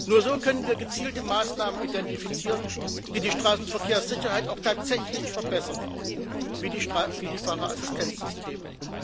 Nur so können wir gezielte Maßnahmen identifizieren, die die Straßenverkehrssicherheit auch tatsächlich verbessern, wie die Fahrerassistenzsysteme.